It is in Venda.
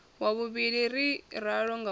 wa vhuvhili ri ralo ngauri